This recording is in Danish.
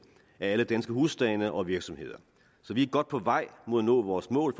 af alle danske husstande og virksomheder så vi er godt på vej mod at nå vores mål